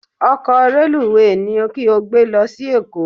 Ọkọ̀ reluwé ni kí o gbé lọ sí Èkó